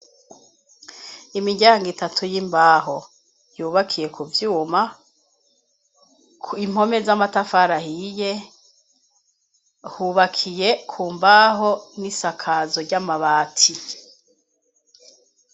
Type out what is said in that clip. Imiryango itatu y'imbaho yubakiye ku vyuma impome z'amatafarahiye hubakiye ku mbaho n'isakazo ry'amabati.